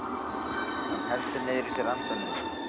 Hann heldur niðri í sér andanum.